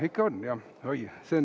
Ikka on jah!